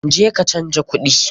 Je ka canja kuɗi!